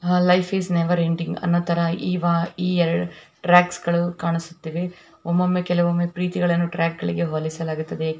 Life is never ending ಅನ್ನೋ ತರ ಈ ಎರಡು ಟ್ರ್ಯಾಕ್ ಗಳು ಕಾಣಿಸುತ್ತವೆ ಒಮ್ಮೊಮ್ಮೆ ಕೆಲವೊಮ್ಮೆ ಈ ಟ್ರ್ಯಾಕ್ ಗಳನ್ನು ಪ್ರೀತಿಗೆ ಹೋಲಿಸಲಾಗುತ್ತದೆ.